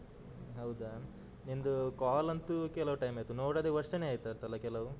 ಹೌದಾ, ನಿಂದು call ಅಂತು ಕೆಲವು time ಆಯ್ತು ನೋಡದೆ ವರ್ಷನೆ ಆಯ್ತಂತಾಂತಲ್ಲ ಕೆಲವು.